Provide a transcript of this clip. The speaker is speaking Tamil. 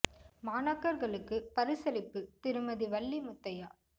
மாணக்கர்களுக்குப் பரிசளிப்பு திருமதி வள்ளி முத்தையா